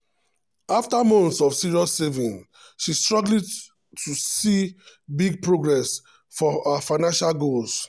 after months of serious saving she struggle to see big progress for her financial goals.